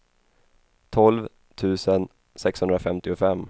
tolv tusen sexhundrafemtiofem